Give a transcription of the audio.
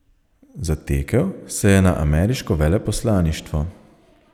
Zatekel se je na ameriško veleposlaništvo.